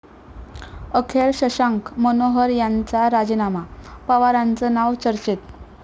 अखेर शशांक मनोहर यांचा राजीनामा, पवारांचं नाव चर्चेत